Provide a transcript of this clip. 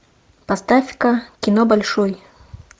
поставь ка кино большой